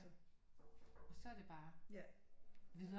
Og så er det bare videre